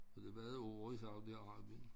Så det har været år i Saudi Arabien